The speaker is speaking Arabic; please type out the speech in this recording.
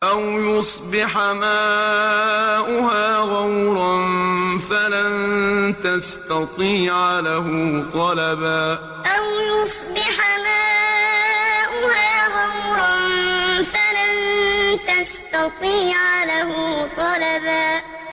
أَوْ يُصْبِحَ مَاؤُهَا غَوْرًا فَلَن تَسْتَطِيعَ لَهُ طَلَبًا أَوْ يُصْبِحَ مَاؤُهَا غَوْرًا فَلَن تَسْتَطِيعَ لَهُ طَلَبًا